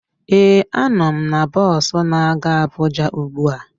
Ee, a nọ m na bọs na-aga Abuja ugbu a